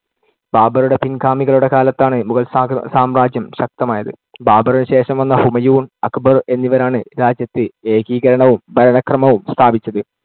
ബാബറുടെ പിൻ‌ഗാമികളുടെ കാലത്താണ് മുഗൾ സാ~ സാമ്രാജ്യം ശക്തമായത്. ബാബറിനു ശേഷം വന്ന ഹുമയൂൺ, അക്ബർ എന്നിവരാണ് രാജ്യത്ത് ഏകീകരണവും ഭരണക്രമവും സ്ഥാപിച്ചത്.